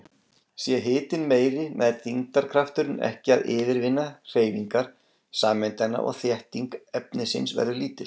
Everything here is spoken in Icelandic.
Sé hitinn meiri nær þyngdarkrafturinn ekki að yfirvinna hreyfingar sameindanna og þétting efnisins verður lítil.